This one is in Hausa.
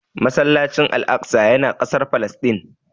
Masallacin Al'aqsa ya na kasar Falasɗin